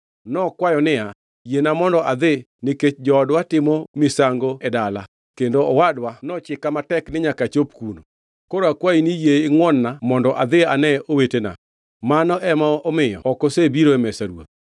Nokwayo niya, “Yiena mondo adhi nikech joodwa timo misango e dala kendo owadwa nochika matek ni nyaka achop kuno. Koro akwayi ni yie ingʼwon-na mondo adhi ane owetena. Mano ema omiyo ok osebiro e mesa ruoth.”